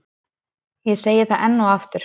Ég segi það enn og aftur.